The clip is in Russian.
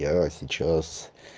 я сейчас